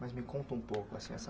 Mas me conta um pouco, assim, essa...